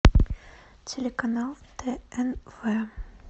телеканал тнв